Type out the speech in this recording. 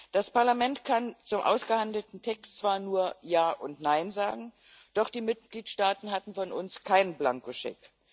Das Parlament kann zum ausgehandelten Text zwar nur Ja und Nein sagen, doch die Mitgliedstaaten hatten von uns keinen Blankoscheck.